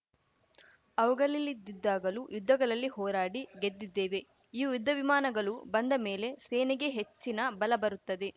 ಅವುಗಲಿಲ್ಲದಿದ್ದಾಗಲೂ ಯುದ್ಧಗಲಲ್ಲಿ ಹೋರಾಡಿ ಗೆದ್ದಿದ್ದೇವೆ ಈ ಯುದ್ಧವಿಮಾನಗಲು ಬಂದ ಮೇಲೆ ಸೇನೆಗೆ ಹೆಚ್ಚಿನ ಬಲ ಬರುತ್ತದೆ